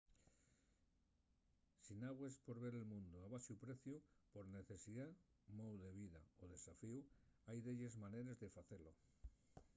si nagües por ver el mundu a baxu preciu por necesidá mou de vida o desafíu hai delles maneres de facelo